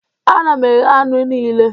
Ana m eghe anụ niile